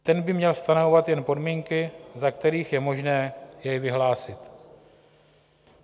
Ten by měl stanovovat jen podmínky, za kterých je možné jej vyhlásit.